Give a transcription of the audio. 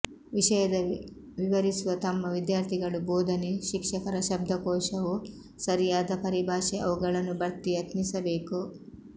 ವಿಷಯದ ವಿವರಿಸುವ ತಮ್ಮ ವಿದ್ಯಾರ್ಥಿಗಳು ಬೋಧನೆ ಶಿಕ್ಷಕರ ಶಬ್ದಕೋಶವು ಸರಿಯಾದ ಪರಿಭಾಷೆ ಅವುಗಳನ್ನು ಭರ್ತಿ ಯತ್ನಿಸಬೇಕು